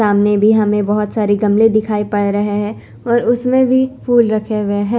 सामने भी हमे बहुत सारी गमले दिखाई पड़ रहे है और उसमे भी फूल रखे हुए है ।